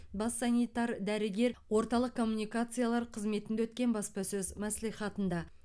бас санитар дәрігер орталық коммуникациялар қызметінде өткен баспасөз мәслихатында